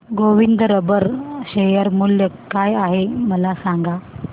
Govind rubber share मूल्य काय आहे मला सांगा